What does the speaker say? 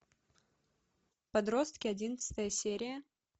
подростки одиннадцатая серия